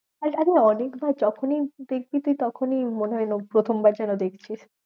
আমি অনেকবার যখনই দেখি তুই তখনই মনে হয় প্রথম বার যেন দেখছিস।